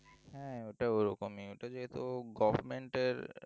হ্যাঁ ওটা ওরকমই ওটা যেহেতু government এর